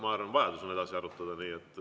Ma arvan, et on vajadus seda edasi arutada.